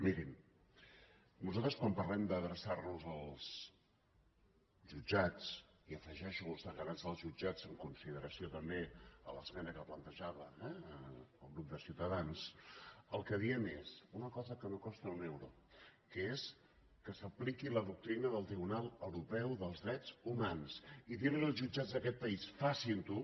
mirin nosaltres quan parlem d’adreçar nos als jutjats i hi afegeixo els deganats dels jutjats en consideració també a l’esmena que plantejava eh el grup de ciutadans el que diem és una cosa que no costa un euro que és que s’apliqui la doctrina del tribunal europeu dels drets humans i dir los als jutjats d’aquest país facin ho